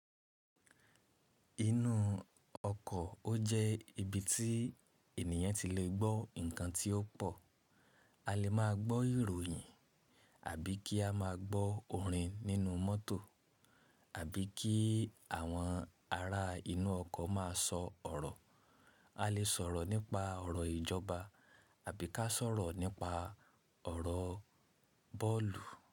Inú ọkọ̀ ó jẹ́ ibi tí ènìyàn ti lè gbọ́ nǹkan tí ó pọ̀. A lè máa gbọ́ ìròyìn àbí kí a máa gbọ́ orin nínú mọ́tò àbí kí àwọn ará inú ọkọ̀ má a sọ ọ̀rọ̀. A lè sọ̀rọ̀ nípa ọ̀rọ̀ ìjọba àbí ká sọ̀rọ̀ nípa ọ̀rọ̀ bọ́ọ̀lù.